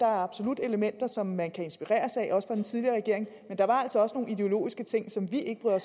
absolut er elementer som man kan inspireres af også fra den tidligere regering men der var altså også nogle ideologiske ting som vi ikke bryder